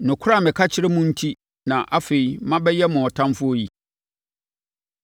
Nokorɛ a meka kyerɛ mo enti na afei mabɛyɛ mo ɔtamfoɔ yi?